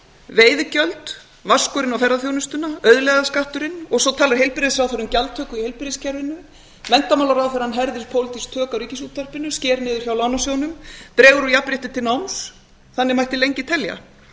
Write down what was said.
veiðigjöld vaskurinn á ferðaþjónustuna auðlegðarskatturinn og svo talar heilbrigðisráðherra um gjaldtöku í heilbrigðiskerfinu menntamálráðherrann herðir pólitísk tök á ríkisútvarpinu sker niður hjá lánasjóðnum dregur úr jafnrétti til náms þannig mætti lengi telja